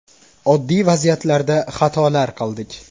Oddiy vaziyatlarda xatolar qildik.